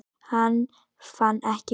Hann fann ekki Guð.